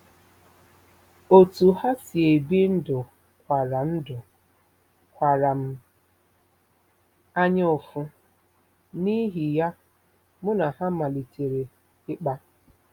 Otú ha si ebi ndụ kwara ndụ kwara m anyaụfụ, n’ihi ya, mụ na ha malitere ịkpa.